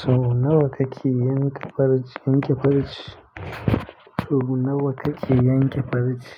To nawa kake yanke farce, yanke farce? To nawa kake yanke farce?